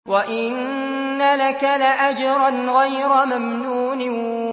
وَإِنَّ لَكَ لَأَجْرًا غَيْرَ مَمْنُونٍ